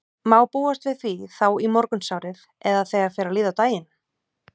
Má búast við því þá í morgunsárið eða þegar fer að líða á daginn?